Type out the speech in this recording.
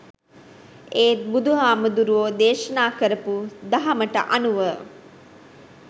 ඒත් බුදුහාමුදුරුවො දේශනා කරපු දහමට අනුව